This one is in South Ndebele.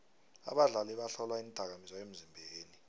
abadlali bahlolwa iindakamizwa emzimbeni